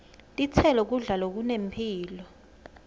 titselo kudla lokunemphilo